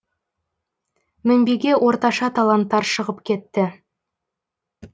мінбеге орташа таланттар шығып кетті